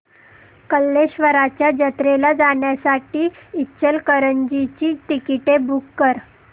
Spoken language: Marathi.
कल्लेश्वराच्या जत्रेला जाण्यासाठी इचलकरंजी ची तिकिटे बुक कर